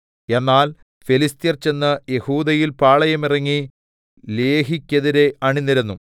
എന്നാൽ ഫെലിസ്ത്യർ ചെന്ന് യെഹൂദയിൽ പാളയമിറങ്ങി ലേഹിയ്ക്കെതിരെ അണിനിരന്നു